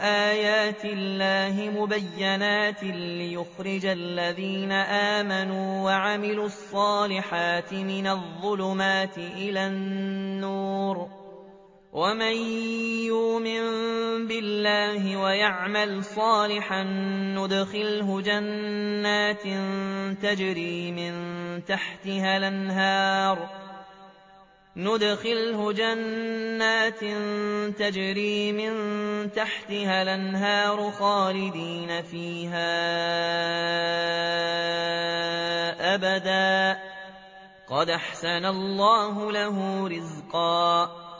آيَاتِ اللَّهِ مُبَيِّنَاتٍ لِّيُخْرِجَ الَّذِينَ آمَنُوا وَعَمِلُوا الصَّالِحَاتِ مِنَ الظُّلُمَاتِ إِلَى النُّورِ ۚ وَمَن يُؤْمِن بِاللَّهِ وَيَعْمَلْ صَالِحًا يُدْخِلْهُ جَنَّاتٍ تَجْرِي مِن تَحْتِهَا الْأَنْهَارُ خَالِدِينَ فِيهَا أَبَدًا ۖ قَدْ أَحْسَنَ اللَّهُ لَهُ رِزْقًا